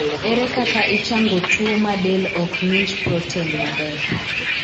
Ere kaka ichango tuo ma del ok ng'inj proten maber ?